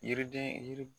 Yiriden yiri